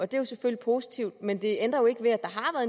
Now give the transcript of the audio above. det er selvfølgelig positivt men det ændrer jo ikke ved at der har